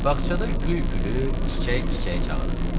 Bağçada gül gülü, çiçək çiçəyi çağırırdı.